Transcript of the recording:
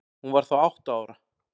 Hún var þá átta ára.